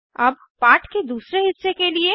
अब पाठ के दूसरे हिस्से के लिए